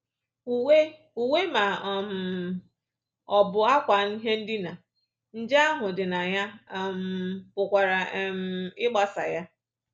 Uwe Uwe ma um ọ bụ ákwà ihe ndina nje ahụ dị na ya um pụkwara um ịgbasa ya